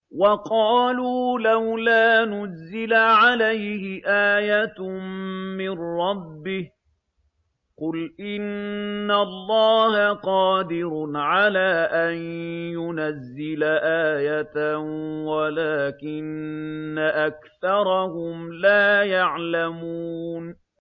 وَقَالُوا لَوْلَا نُزِّلَ عَلَيْهِ آيَةٌ مِّن رَّبِّهِ ۚ قُلْ إِنَّ اللَّهَ قَادِرٌ عَلَىٰ أَن يُنَزِّلَ آيَةً وَلَٰكِنَّ أَكْثَرَهُمْ لَا يَعْلَمُونَ